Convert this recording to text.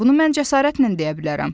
Bunu mən cəsarətlə deyə bilərəm.